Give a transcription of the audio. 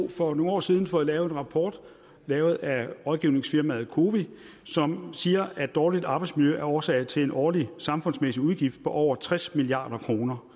for nogle år siden fået en rapport lavet af rådgivningsfirmaet cowi som siger at dårligt arbejdsmiljø er årsagen til en årlig samfundsmæssig udgift på over tres milliard kroner